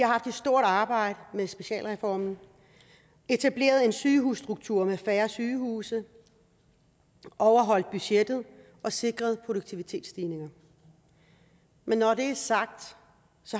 har haft et stort arbejde med specialreformen etableret en sygehusstruktur med færre sygehuse overholdt budgettet og sikret produktivitetsstigninger men når det er sagt